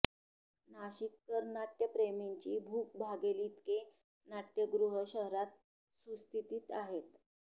नाशिककर नाट्यप्रेमींची भूक भागेल इतके नाट्यगृह शहरात सुस्थितीत आहेत